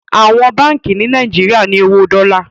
Àwọn Bánkì ni Nàìjíríà ní owó Dola.